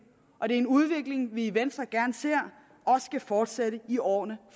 og det er en udvikling som vi i venstre gerne ser også skal fortsætte i årene